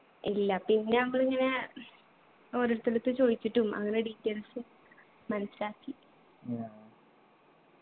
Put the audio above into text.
ഇല്ല പിന്നെ ഞമ്മളിങ്ങനെ ഓരോരുത്തരെടുത്ത് ചോദിച്ചിട്ടും അങ്ങനെ details മനസിലാക്കി